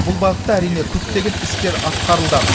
бұл бағытта әрине көптеген істер атқарылды